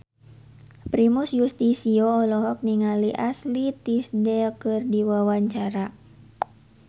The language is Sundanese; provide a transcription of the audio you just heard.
Primus Yustisio olohok ningali Ashley Tisdale keur diwawancara